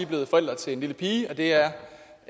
blevet forældre til en lille pige og det er